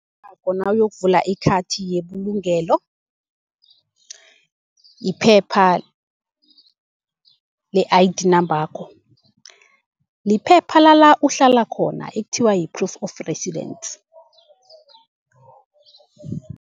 nawuyokuvula ikhathi yebulugelo yiphepha le-I_D nambakho, liphepha lala uhlala khona ekuthiwa yi-proof of residence.